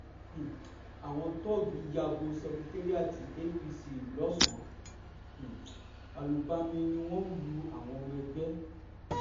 um àwọn tóògì ya bo ṣekérìàti apc lọ́sun um àlùbami ni wọ́n lu àwọn ọmọ ẹgbẹ́